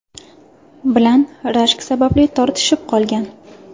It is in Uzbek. bilan rashk sababli tortishib qolgan.